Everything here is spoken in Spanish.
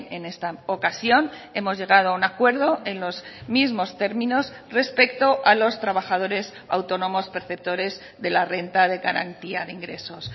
en esta ocasión hemos llegado a un acuerdo en los mismos términos respecto a los trabajadores autónomos perceptores de la renta de garantía de ingresos